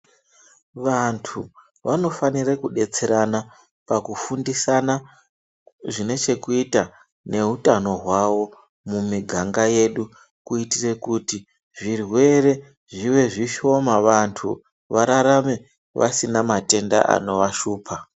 Vandu vanofanira kudetserana pakufundisana zvinechekuita nehutano hwavo mumiganga yedu .Kuitire kuti zvirwere zvive zvishoma vandu vararame vasina matenda anovashupa.